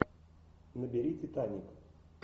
набери титаник